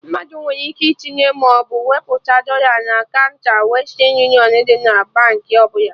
Mmadụ nwere ike itinye maọbụ wepụta dọla na kaụnta Western union dị na Baankị ọbụla